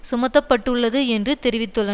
சுமத்த பட்டுள்ளது என்று தெரிவித்துள்ள